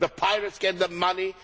the pirates get the money.